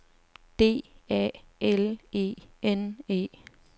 D A L E N E